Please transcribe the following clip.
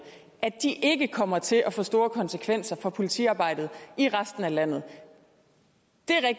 ikke kommer til at få store konsekvenser for politiarbejdet i resten af landet